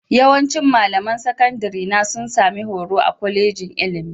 Yawancin malaman sakandarena sun sami horo a kwalejin ilimi